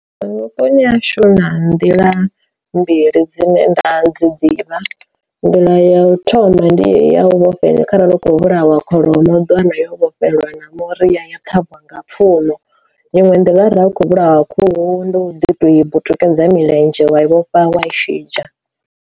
Vhuponi ha shu huna nḓila mbili dzine nda dzi ḓivha, nḓila ya u thoma ndi ya u vhofhela kharali u khou vhulawa kholomo ḓiwana yo vhofholowa na muri ya ya ṱhavhiwa nga pfhumo iṅwe nḓila ra kho vhulawa khuhu ndi u ḓi to i vhu tikedza milenzhe wa vhofha wa i shidzha.